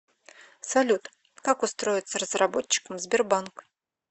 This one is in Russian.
салют как устроиться разработчиком в сбербанк